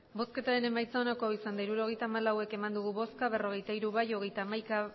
emandako botoak hirurogeita hamalau bai berrogeita hiru ez hogeita hamaika